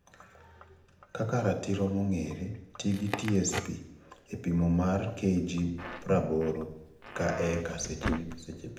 Kaka ratiro mongere, tii gi (TSP) e pimo mare KG praboro ka eka seche pitho.